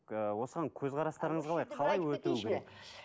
ы осыған көзқарастарыңыз қалай қалай